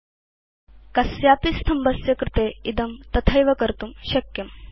तालिकायां कस्य अपि स्तम्भस्य कृते वयं इदं तथैव कर्तुं शक्नुम